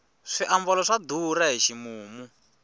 swiambalo swa durha hi ximumu